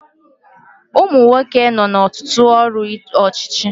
Umunwoke nọ na Ọtụtụ ọrụ ọchịchị